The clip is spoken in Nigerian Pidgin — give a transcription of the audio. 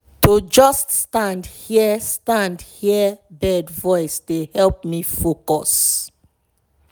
to just stand hear stand hear bird voice dey help me focus.